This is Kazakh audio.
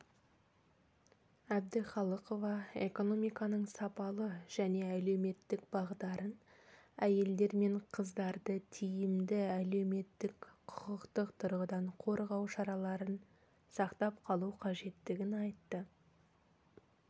әбдіқалықова экономиканың сапалы және әлеуметтік бағдарын әйелдер мен қыздарды тиімді әлеуметтік құқықтық тұрғыдан қорғау шараларын сақтап қалу қажеттігін айтты